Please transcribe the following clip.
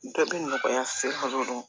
Dɔ bɛ nɔgɔya se fɔlɔ